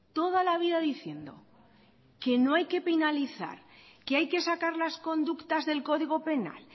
toda la vida diciendo que no hay que penalizar que hay que sacar las conductas del código penal